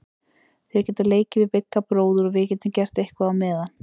Þær geta leikið við Bigga bróður og við getum gert eitthvað á meðan.